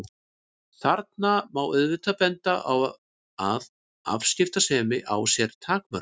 Þarna má auðvitað benda á að afskiptasemi á sér takmörk.